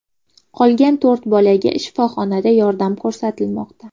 Qolgan to‘rt bolaga shifoxonada yordam ko‘rsatilmoqda.